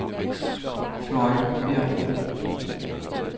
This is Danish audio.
Fløjbjerg